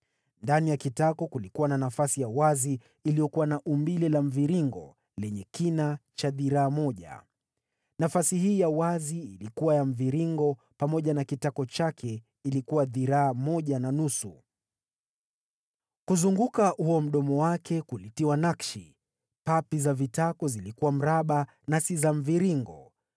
Ndani ya kitako kulikuwa na nafasi ya wazi iliyokuwa na umbile la mviringo lenye kina cha dhiraa moja. Nafasi hii ya wazi ilikuwa ya mviringo, pamoja na kitako chake ilikuwa dhiraa moja na nusu. Kuzunguka huo mdomo wake kulitiwa nakshi. Papi za vitako zilikuwa mraba na si za mviringo.